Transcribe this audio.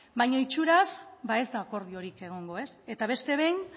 baino itxuraz ba ez da akordiori egongo ez eta beste behin